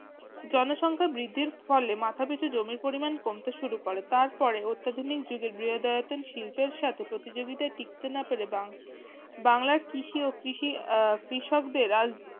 জনসংখার বৃদ্ধির ফলে মাথাপিছু জমির পরিমান কমতে শুরু করে তার পরে অত্যাধুনিক যুগে বৃহদায়তন শিপ্লের সাথে প্রতিযোগিতায় ঠিকতে না পেরে বাং বাংলার কৃষি ও কৃষি আহ কৃষকদের রাজ